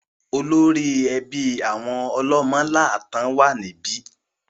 Olórí ẹbí àwọn Ọlọ́mọ́láàtan wà níbí.